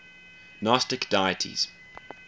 gnostic deities